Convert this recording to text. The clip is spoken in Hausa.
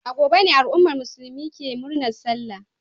A gobe ne al'ummar musulmi ke murnar Sallah.